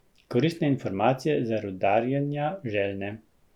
Koristne informacije za rudarjenja željne.